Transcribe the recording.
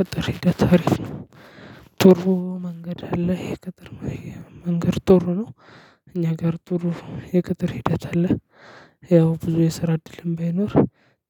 ቅጥር ሂደት አሪፍ ነው ጥሩ መንገድ አለ። የቅጥር መንገድ ጥሩ ነው እኛ አገር ጥሩ የቅጥር ሂደት አለ። ያው ብዙ የሰራ እድልም ባይኖር